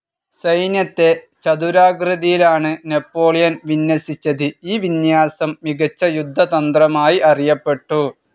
സൈന്യത്തെ ചതുരാകൃതിയിലാണ് നാപ്പോളിയൻ വിന്യസിച്ചത്, ഈ വിന്യാസം മികച്ച യുദ്ധതന്ത്രമായി അറിയപ്പെട്ടു.